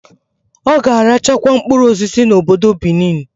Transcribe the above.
Oga arachakwa mkpụrụ osisi na obodo Benin